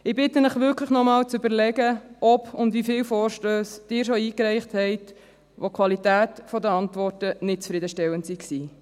Ich bitte Sie wirklich, sich noch einmal zu überlegen, ob und wie viele Vorstösse Sie schon eingereicht haben und ob die Qualität der Antworten nicht zufriedenstellend waren.